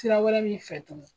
Sira wɛrɛ min fɛ dun